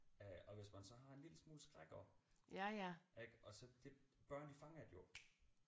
Øh og hvis man så har en lille smule skræk også ik og så det børn de fanger det jo